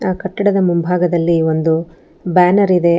ಆ ಕಟ್ಟಡದ ಮುಂಭಾಗದಲ್ಲಿ ಒಂದು ಬ್ಯಾನರ್ ಇದೆ ಆ.